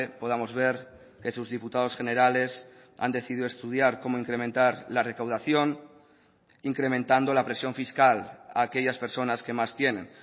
podamos ver que sus diputados generales han decidido estudiar cómo incrementar la recaudación incrementando la presión fiscal a aquellas personas que más tienen